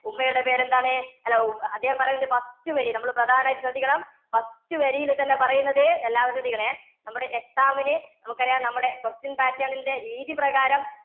ഉമ്മയുടെ പേരെന്താണ്? അല്ല അദ്ദേഹം പറയുണ്ട് first വരി. നമ്മളു പ്രധാനായിട്ട് ശ്രദ്ധിക്കണം. first വരിയില്‍ തന്നെ പറയുന്നത് എല്ലാവരും ശ്രദ്ധിക്കണേ, നമ്മുടെ exam ന് നമുക്കറിയാം നമ്മുടെ question pattern ന്‍ടെ രീതി പ്രകാരം